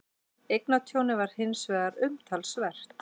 Eignatjónið er hins vegar umtalsvert